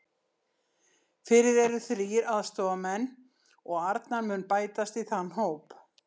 Fyrir eru þrír aðstoðarmenn og Arnar mun bætast í þann hóp.